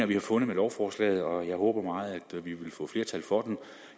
vi har fundet med lovforslaget og jeg håber meget at vi vil få flertal for